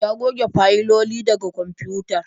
Ya goge fayiloli daga kwamfutar